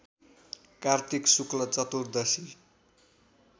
कार्तिक शुक्ल चतुदर्शी